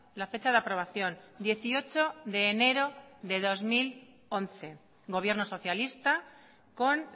la fecha de aprobación dieciocho de enero de dos mil once gobierno socialista con